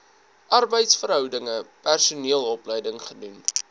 arbeidsverhoudinge personeelopleiding gedoen